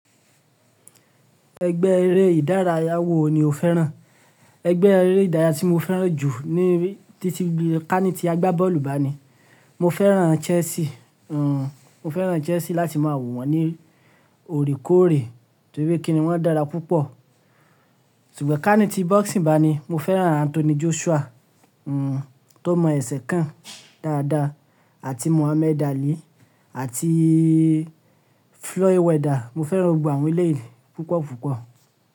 Ẹgbẹ́ eré ìdárayá wo ni o fẹ́ràn? Ẹgbẹ́ eré ìdárayá tí mo fẹ́ràn jù ní títí ká ní ti agbábọ́ọ̀lù bá ni. Mo fẹ́ràn Chelsea. Mo fẹ́ràn Chelsea láti máa wò wọ̀n ní òrìkóòrè torí pé kíni wọ́n dára púpọ̀. Ṣùgbọ́n ká ní ti boxing bá ni, mo fẹ́ràn Anthony Joshua tó mọ ẹsẹ̀ kàn dáadáa àti Muhammad Ali àti Floyd Mayweather. Mo fẹ́ràn gbogbo àwọn eléyìí púpọ̀ púpọ̀